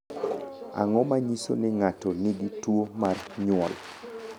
Ang’o ma nyiso ni ng’ato nigi tuwo mar nyuol?